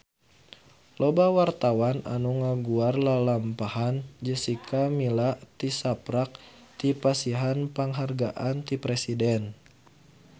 Loba wartawan anu ngaguar lalampahan Jessica Milla tisaprak dipasihan panghargaan ti Presiden